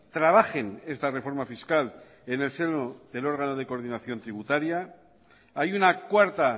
trabajen esta reforma fiscal en el seno del órgano de coordinación tributaria hay una cuarta